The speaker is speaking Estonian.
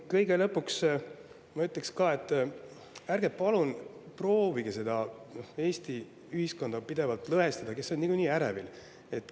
Kõige lõpuks ma ütleksin, et ärge palun proovige pidevalt lõhestada Eesti ühiskonda, inimesed on niikuinii ärevil.